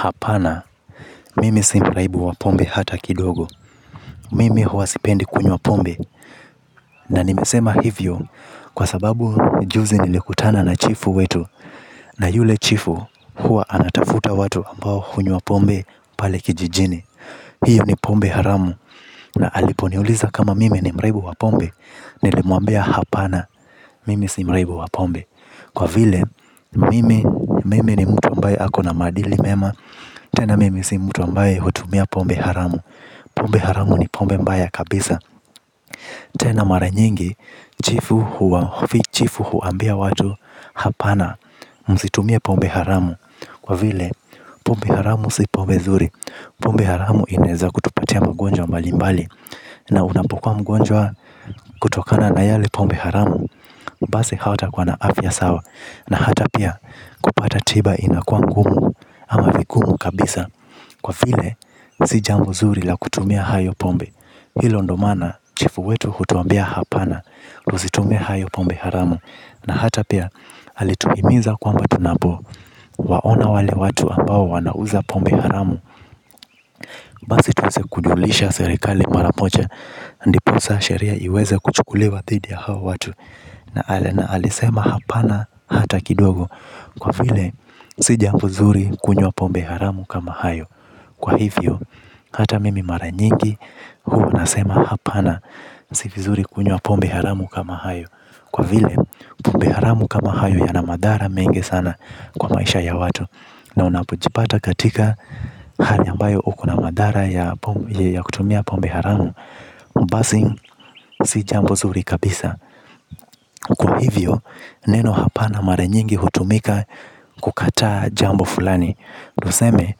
Hapana, mimi simraibu wapombe hata kidogo, mimi huwa sipendi kunywa pombe, na nimesema hivyo, kwa sababu juzi nilikutana na chifu wetu, na yule chifu huwa anatafuta watu ambao hunywa pombe pale kijijini, hiyo ni pombe haramu, na aliponiuliza kama mimi ni mraibu wa pombe, nilimwambia hapana, mimi si mraibu wapombe, kwa vile, mimi mimi ni mtu ambaye ako na maadili mema. Tena mimi si mtu ambaye hutumia pombe haramu. Pombe haramu ni pombe mbaya kabisa. Tena mara nyingi, chifu huambia watu hapana msitumie pombe haramu kwa vile, pombe haramu si pombe nzuri. Pombe haramu inaezakutupatia magonjwa mbalimbali. Na unapokuwa mgonjwa kutokana na yale pombe haramu. Basi hatakuwa na afya sawa na hata pia kupata tiba inakuwa ngumu ama vigumu kabisa. Kwa vile si jambo zuri la kutumia hayo pombe. Hilo ndo maana chifu wetu hutuambia hapana, tusitumie hayo pombe haramu. Na hata pia alituhimiza kwamba tunapowaona wale watu ambao wanauza pombe haramu. Basi tuweze kujulisha serikali mara moja. Ndiposa sheria iweze kuchukuliwa dhidi ya hao watu. Na alisema hapana hata kidogo kwa vile, si jambo zuri kunywa pombe haramu kama hayo. Kwa hivyo, hata mimi mara nyingi huwa nasema hapana. Si vizuri kunywa pombe haramu kama hayo. Kwa vile, pombe haramu kama hayo yana madhara mengi sana kwa maisha ya watu. Na unapojipata katika hali ambayo uko na madhara ya kutumia pombe haramu basi, si jambo zuri kabisa. Kwa hivyo neno hapana mara nyingi hutumika kukataa jambo fulani tuseme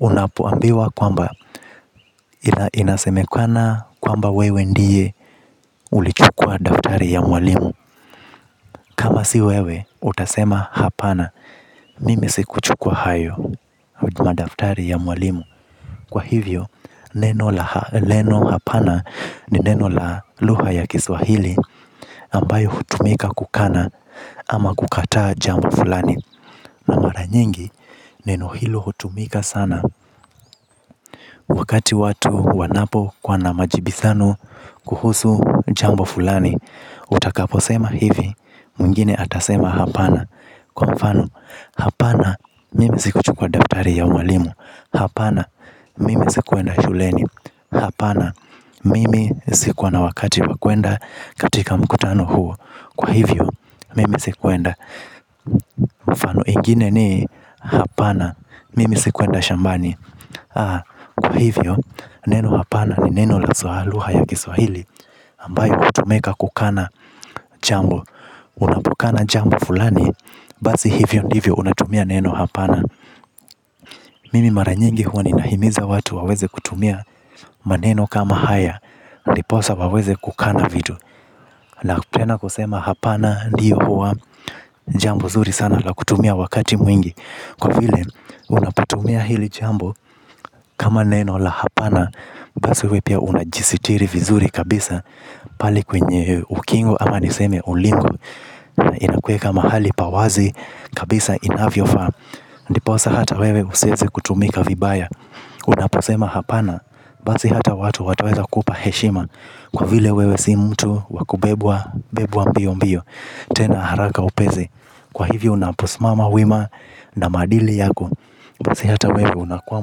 unapoambiwa kwamba inasemekana kwamba wewe ndiye ulichukua daftari ya mwalimu. Kama si wewe utasema hapana mimi sikuchukua hayo madaftari ya mwalimu. Kwa hivyo, neno la neno hapana ni neno la lugha ya kiswahili ambayo hutumika kukana ama kukata jambo fulani. Na mara nyingi, neno hilo hutumika sana wakati watu wanapokuwa na majibizano kuhusu jambo fulani. Utakaposema hivi, mwingine atasema hapana. Kwa mfano, hapana mimi sikuchukua daftari ya mwalimu. Hapana, mimi sikuenda shuleni. Hapana, mimi sikuwa na wakati wa kwenda katika mkutano huo. Kwa hivyo, mimi sikuenda. Mfano ingine ni hapana mimi sikuenda shambani, kwa hivyo, neno hapana ni neno la haswa lugha ya kiswahili ambayo hutumika kukana jambo. Unapokana jambo fulani. Basi hivyo ndivyo unatumia neno hapana. Mimi mara nyingi huwa ninahimiza watu waweze kutumia maneno kama haya. Ndiposa waweze kukana vitu. Na pia na kusema hapana ndiyo huwa jambo zuri sana la kutumia wakati mwingi. Kwa vile unapatumia hili jambo kama neno la hapana. Basi uwe pia unajisitiri vizuri kabisa. Pale kwenye ukingo ama niseme ulingo. Inakuweka mahali pa wazi kabisa inavyofaa. Ndiposa hata wewe usiweze kutumika vibaya. Unaposema hapana, bazi hata watu wataweza kupa heshima. Kwa vile wewe si mtu wa kubebwa mbiombio. Tena haraka upesi. Kwa hivyo unaposimama wima na maadili yako basi hata wewe unakuwa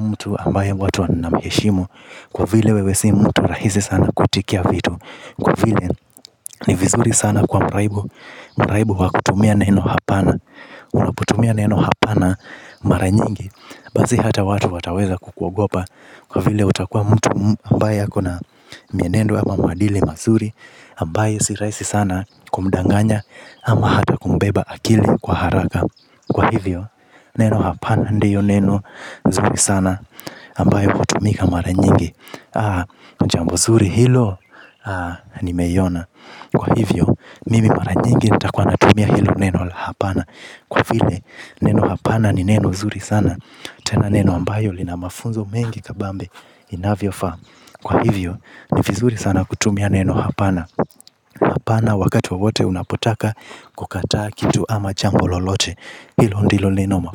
mtu ambaye watu wanamheshimu kwa vile wewe si mtu rahisi sana kuitikia vitu, kwa vile ni vizuri sana kwa mraibu. Mraibu wa kutumia neno hapana. Unaputumia neno hapana mara nyingi basi hata watu wataweza kukuogopa kwa vile utakuwa mtu ambaye ako na mienendo ama maadili mazuri ambaye si rahisi sana kumdanganya ama hata kumbeba akili kwa haraka. Kwa hivyo neno hapana ndiyo neno zuri sana ambayo hutumika mara nyingi. Jambo zuri hilo nimeiona. Kwa hivyo mimi mara mingi nitakuwa natumia hilo neno la hapana kwa vile neno hapana ni neno zuri sana. Tena neno ambayo lina mafunzo mengi kabambe inavyofaa. Kwa hivyo ni vizuri sana kutumia neno hapana. Hapana wakati wowote unapotaka kukataa kitu ama jambo lolote. Hilo ndilo neno.